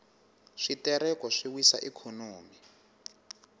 switereko swi wisa ikhonomi